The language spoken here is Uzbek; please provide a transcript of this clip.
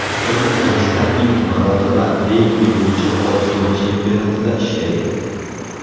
O‘zbekistonlik komissar ilk marotaba regbi bo‘yicha Osiyo chempionatida ishlaydi.